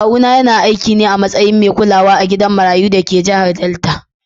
Kawuna yana aiki ne a matsayin mai kulawa a gidan marayu da ke jihar Delta.